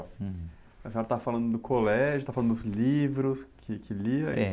Hum. senhora estava falando do colégio, estava falando dos livros que, que lia..